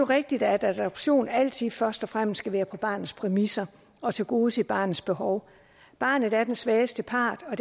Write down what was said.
rigtigt at adoption altid først og fremmest skal være på barnets præmisser og tilgodese barnets behov barnet er den svageste part og